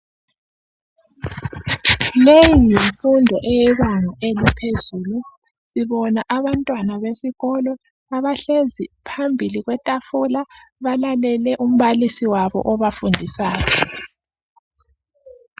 Leyi yimfundo eyebanga elaphezulu. Sibona abantwana besikolo abahlezi phambili kwetafula balalele umbalisi wabo obafundisayo